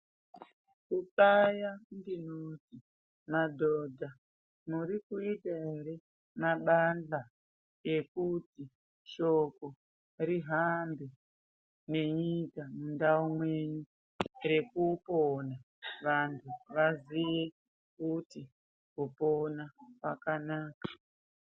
Kuqaya, ndinoti madhodha muri kuita ere mabandhla ekuti, shoko rihambe nenyika mundau mwenyu, rekupona, vanthu vaziye kuti, kupona kwakanaka.